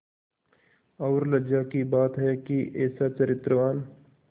और लज्जा की बात है कि ऐसा चरित्रवान